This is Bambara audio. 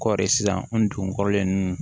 Kɔɔri sisan n dugun kɔrɔlen ninnu